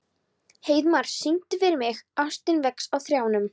Heiðmar, syngdu fyrir mig „Ástin vex á trjánum“.